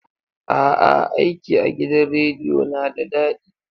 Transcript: A'a, aiki a gidan rediyo na da daɗi.